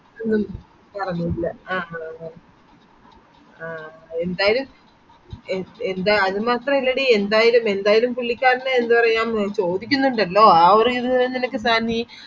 ആ ആഹ് ആഹ് ന്തായാലും ന്ത അതുമാത്രല്ലേടി എന്തായാലും എന്തായാലും പുള്ളിക്കാരന് ചോദിക്കുന്നില്ലല്ലോ ആ ഒരു ഇത് നിനക്കു